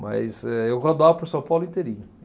Mas eh eu rodava por São Paulo inteirinho.